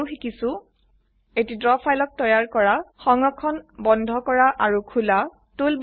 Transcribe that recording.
আমি আৰু শিকিছো এটি ড্ৰ ফাইলক তৈয়াৰ কৰা সংৰক্ষণ বন্ধ কৰা অৰু খোলা